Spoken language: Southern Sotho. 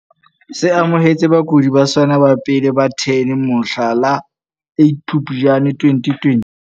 Se amohetse bakudi ba sona ba pele ba 10 mohla la 8 Phuptjane 2020.